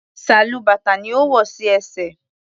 Sálúbàtà ni ó wò sí ẹsẹ̀.